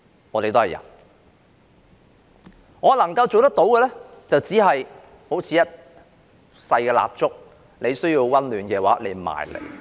我能夠做的，只是好像一支小蠟燭，如需要溫暖便可靠近我。